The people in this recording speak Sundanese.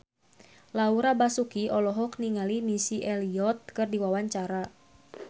Laura Basuki olohok ningali Missy Elliott keur diwawancara